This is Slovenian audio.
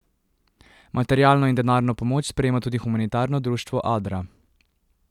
Materialno in denarno pomoč sprejema tudi humanitarno društvo Adra.